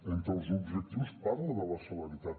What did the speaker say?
entre els objectius parla de la celeritat